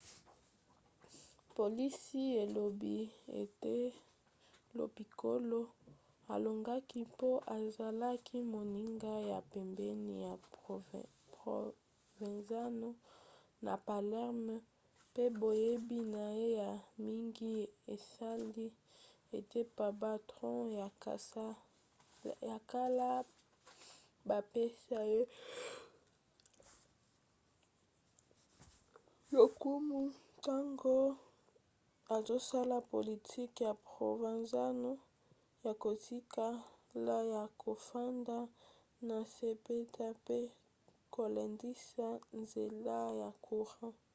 polisi elobi ete lo piccolo alongaki mpo azalaki moninga ya pembeni ya provenzano na palerme pe boyebi na ye ya mingi esali ete bapatron ya kala bapesa ye lokumu ntango azosala politiki ya provenzano ya kotikala ya kofanda na nse mpenza mpe kolendisa nzela ya courant